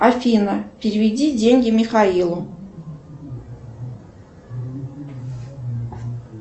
афина переведи деньги михаилу